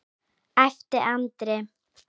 æpti Andri.